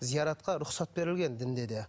зияратқа рұқсат берілген дінде де